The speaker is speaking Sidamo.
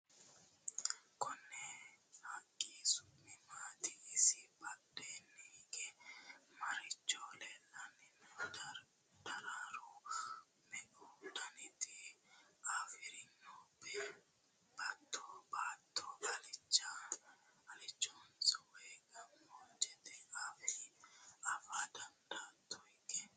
Konni haqqi su'mi maatti? isi badheenni hige marichi leelanni no? daro meu dannitta afirinno? Batto alichohonso woyi gamoojjette? affa dandaatto hige?